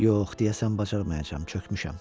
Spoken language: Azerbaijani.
Yox, deyəsən bacarmayacam, çökmüşəm.